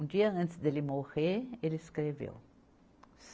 Um dia antes dele morrer, ele escreveu.